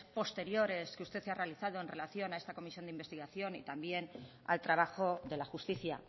posteriores que usted ha realizado en relación a esta comisión de investigación y también al trabajo de la justicia